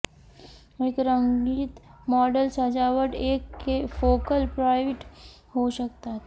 एक रंगीत मॉडेल सजावट एक फोकल पॉईंट होऊ शकतात